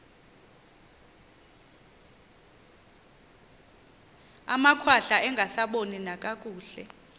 amakhwahla angasaboni nakakuhle